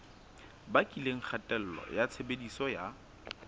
bakileng kgatello ya tshebediso ya